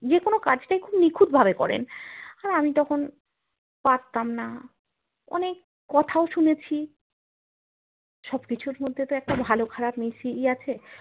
যেকোনো কাজ কেই খুব নিখুঁত ভাবে করেন আর আমি তখন পারতাম না অনেক কোথাও শুনেছি সব কিছুর মধ্যে তো একটা ভালো খারা পমিশিয়ে আছে